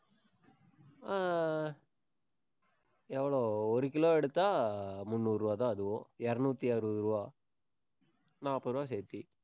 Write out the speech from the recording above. ஆஹ் எவ்வளவு ஒரு கிலோ எடுத்தா, முந்நூறு ரூபாய்தான் அதுவும். இருநூத்தி அறுபது ரூபாய் நாற்பது ரூபாய் சேர்த்து.